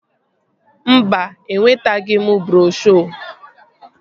Mba, enwetaghị m broshuo